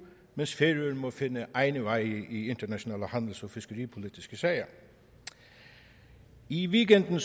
mens færøerne må finde egne veje i internationale handels og fiskeripolitiske sager i weekenden